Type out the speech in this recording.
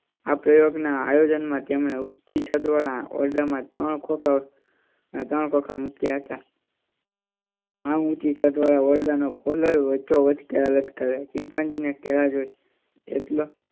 આ પ્રયોગ ના આયોજન માં તેમણે ઊચી છત વાળા ઓરડા માં ત્રણ ખોંખા, ત્રણ ખોંખા મૂક્યા હતા. આ ઊંચી છત વાળા ઓરડા ના વચ્ચો વચ્ચ કેળાં લટકાવ્યા હતા. ચિંપાંજી એ કેળાં જોઈ